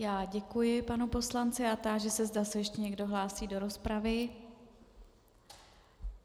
Já děkuji panu poslanci a táži se, zda se ještě někdo hlásí do rozpravy.